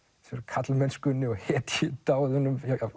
karlmennskunni og hetjudáðum